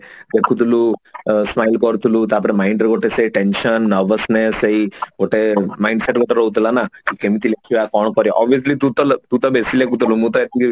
ଲେଖୁଥିଲୁ smile କରୁଥିଲୁ ତାପରେ mind ଗୋଟେ ସେ tension nervousness ସେଇ ଗୋଟେ mindset ଗୋଟେ ରହୁଥିଲା ନା ଆଉ କେମତି ଲେଖିବା କଣ କରିବା obviously ତୁ ତୁ ତୁ ତ ବେଶୀ ଲେଖୁଥିଲୁ ମୁଁ ତ ଏତିକି